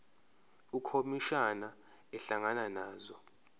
ukhomishana ehlangana nazo